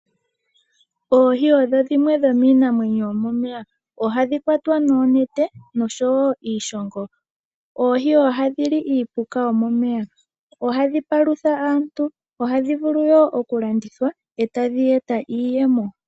Oohi odho dhimwe dhomiinamwenyo yomomeya, ohadhi kwatwa noonete noshowo iishongo. Oohi ohadhi li iipuka yo momeya. Ohadhi palutha aantu, ohadhi vulu woo oku landithwa etadhi eta iiyemo.